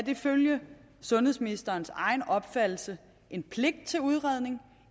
ifølge sundhedsministerens egen opfattelse en pligt til udredning